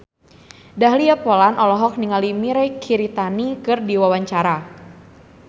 Dahlia Poland olohok ningali Mirei Kiritani keur diwawancara